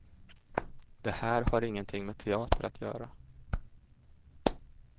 Det här har ingenting med teater att göra.